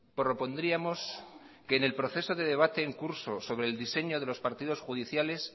propondríamos que en el proceso de debate en curso sobre el diseño de los partidos judiciales